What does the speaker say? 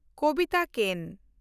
ᱠᱚᱵᱤᱛᱟ ᱠᱮᱱ